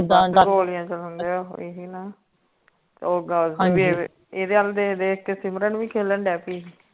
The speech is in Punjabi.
ਗੋਲੀਆਂ ਚਲਾਉਂਦੇ ਆ ਇਹੀ ਨਾ ਹਨਜੀ ਹਨਜੀ ਇਦੇ ਵੱਲ ਦੇਖ ਦੇਖ ਕੇ ਸਿਮਰਨ ਭੀ ਖਲਨੇ ਲਗ ਪਯੀ ਸੀ